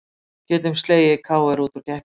Getum slegið KR út úr keppninni